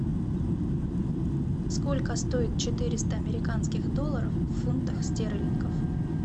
сколько стоят четыреста американских долларов в фунтах стерлингов